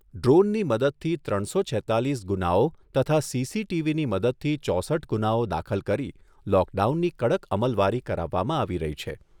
ડ્રોનની મદદથી ત્રણસો છેત્તાલીસ ગુનાઓ તથા સીસીટીવીની મદદથી ચોસઠ ગુનાઓ દાખલ કરી લોકડાઉનની કડક અમલવારી કરાવવામાં આવી રહી છે.